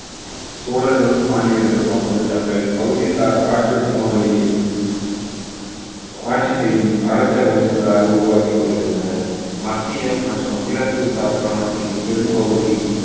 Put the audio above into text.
சோழர்களும் பாண்டியர்களும் அப்பொழுது தங்கள் பகுதி சார் ஆற்று சமவெளியில் ஆட்சி செய்யும் அரச வம்சங்களாக உருவாக்கிக் கொண்டிருந்தன மத்திய மற்றும் கிழக்கு தக்காணத்தின் பெரும்பகுதி